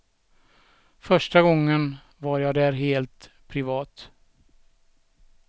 Första gången var jag där helt privat.